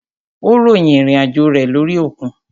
Ó ròyìn ìrìn àjò rẹ lórí òkun.